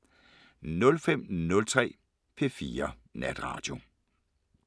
05:03: P4 Natradio